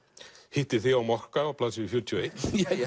hittir þig á mokka á blaðsíðu fjörutíu og eitt